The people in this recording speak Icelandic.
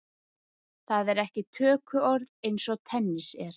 Það er ekki tökuorð eins og tennis er.